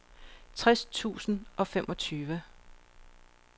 tres tusind og femogtyve